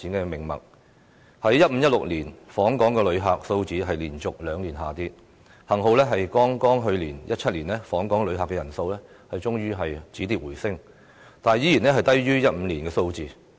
2015年和2016年，訪港旅客數字連續兩年下跌，幸好訪港旅客人數在剛過去的2017年終於止跌回升，但仍然低於2015年的數字。